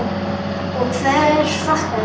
Og hver fattar þetta?